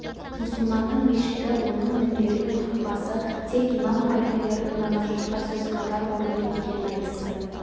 мұсылманның мешіті оның мінбері мен хұтпасы тек имам халфелердің ғана жұртқа сөз қатар орны екенін айтысты